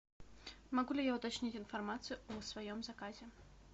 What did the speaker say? могу ли я уточнить информацию о своем заказе